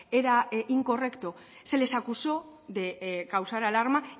era incorrecto se les acusó de causar alarma